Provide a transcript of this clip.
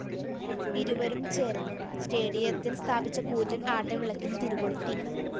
ഇരുവരും ചേര്‍ന്ന് സ്‌റ്റേഡിയത്തില്‍ സ്ഥാപിച്ച കൂറ്റന്‍ ആട്ടവിളക്കിന് തിരികൊളുത്തി